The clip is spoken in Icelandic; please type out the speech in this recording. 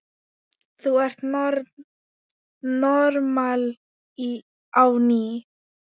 Þú ert normal á ný.